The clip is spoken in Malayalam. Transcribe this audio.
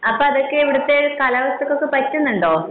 അപ്പൊ അതൊക്കെ ഇവിടുത്തെ കാലാവസ്ഥക്ക് പറ്റുന്നുണ്ടോ